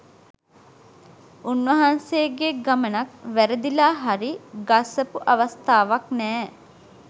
උන්වහන්සේගේ ගමනක් වැරදිලා හරි ගස්සපු අවස්ථාවක් නෑ